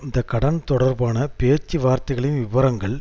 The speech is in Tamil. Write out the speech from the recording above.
இந்த கடன் தொடர்பான பேச்சுவார்த்தைகளின் விபரங்கள்